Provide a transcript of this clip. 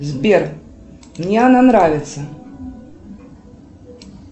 сбер мне она нравится